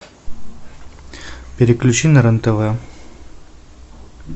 переключи на рен тв